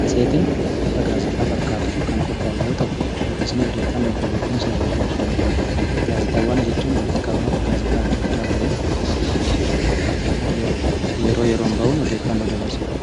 Matseetiin bifa gaazexaa fakkaatuun kan qophaa'u yoo ta'u dubbisnee odeeffannoo fi beekumsa irraa argachuu dandeenya. Gaazexaawwan jechuun walitti qabama gaazexaa adda addaa ta'ee, yeroo yeroon bahun odeeffannoo dabarduudha.